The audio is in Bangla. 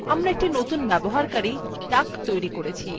আমরা একটি নতুন ব্যবহারকারী duck তৈরী করেছি